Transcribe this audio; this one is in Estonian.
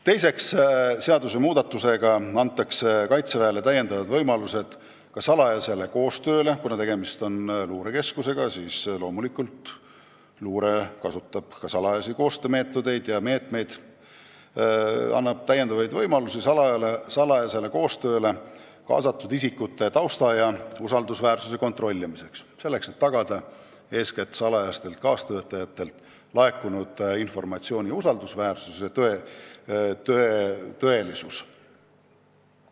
Teiseks, seadusmuudatusega antakse Kaitseväele täiendavad võimalused ka salajaseks koostööks – tegemist on ju luurekeskusega ja loomulikult kasutatakse luures ka salajasi koostöömeetodeid ja -meetmeid – ning salajasele koostööle kaasatud isikute tausta ja usaldusväärsuse kontrollimiseks, et tagada eeskätt salajastelt kaastöötajatelt laekunud informatsiooni usaldusväärsus ja tõesus.